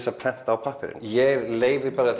að prenta á pappírinn ég leyfi bara